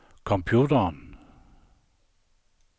computeren